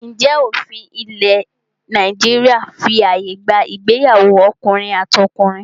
Ǹjẹ́ òfin ilẹ̀ Nàìjíríà fí ààyè gba ìgbéyàwó ọkùnrin àti ọkùnrin?